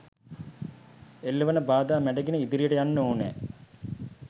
එල්ලවන බාධා මැඩගෙන ඉදිරියට යන්න ඕනෑ.